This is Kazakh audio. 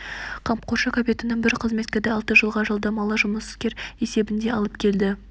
қамқоршы капитаным бір қызметкерді алты жылға жалдамалы жұмыскер есебінде алып келді